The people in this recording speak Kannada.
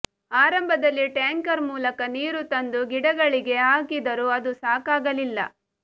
ಆರಂಭದಲ್ಲಿ ಟ್ಯಾಂಕರ್ ಮೂಲಕ ನೀರು ತಂದು ಗಿಡಗಳಿಗೆ ಹಾಕಿದರೂ ಅದು ಸಾಕಾಗಲಿಲ್ಲ